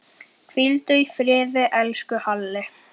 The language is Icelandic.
Hvíldu í friði, elsku Halli.